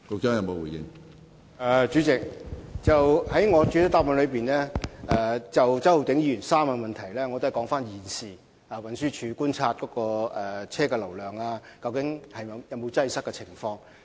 主席，就周浩鼎議員的3部分質詢，我在主體答覆已指出現時運輸署所觀察到的車輛流量和交通擠塞情況。